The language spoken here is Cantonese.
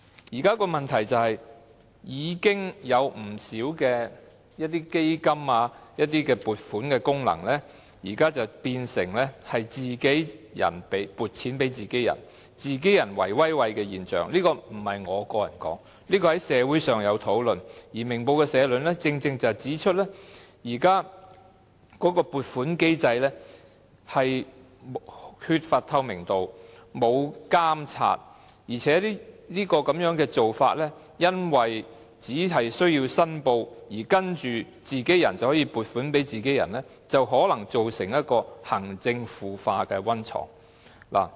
現時的問題是，已經有不少基金和撥款功能，變成自己人撥款予自己人，造成自己人"圍威喂"的現象，這可不是我說的，社會上曾有討論，而《明報》的社論正正指出現時的撥款機制缺乏透明度和監察，而且這種做法只需有關人士作出申報，然後自己人就可以撥款予自己人，因而可能成為行政腐化的溫床。